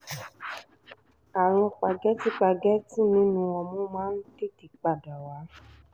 àrùn págẹ́tì págẹ́tì nínú ọmú máa ń tètè tún padà wá